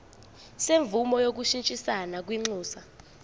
semvume yokushintshisana kwinxusa